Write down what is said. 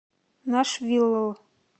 нашвилл